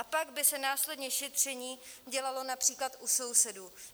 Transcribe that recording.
A pak by se následně šetření dělalo například u sousedů.